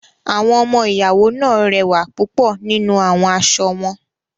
Awọn ọmọ-iyawo naa rẹwa pupọ ninu awọn aṣọ wọn.